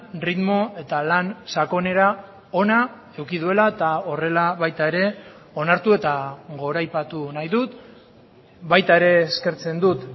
erritmo eta lan sakonera ona eduki duela eta horrela baita ere onartu eta goraipatu nahi dut baita ere eskertzen dut